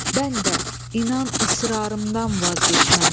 Bən də inan israrımdan vaz keçməm.